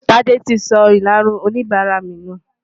Tádé ti sọ ìlarun oníbàárà mi nù.